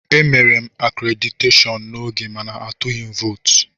Emere m akréditeshọọn n'oge mana atụghị m vootu.